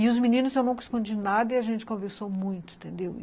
E os meninos, eu nunca escondi nada e a gente conversou muito, entendeu?